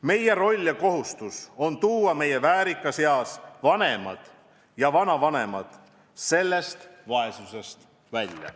Meie roll ja kohustus on tuua oma väärikas eas vanemad ja vanavanemad sellest vaesusest välja.